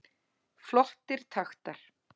Flottir taktar